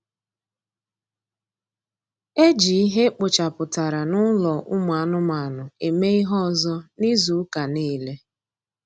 Eji ihe ekpochapụtara n'ụlọ ụmụ anụmanụ eme ihe ọzọ n'izu ụka niile